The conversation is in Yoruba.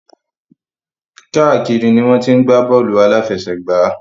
Káàkiri ni wọ́n ti ń gbá bọ́ọ̀lù àláfẹsẹ̀gbá.